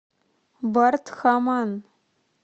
бардхаман